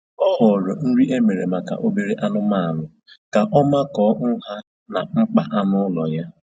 O họọrọ nri e mere maka obere anụmanụ ka ọ makọọ nha na mkpa anụ ụlọ ya